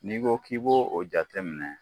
N'i ko k'i b'o o jate minɛ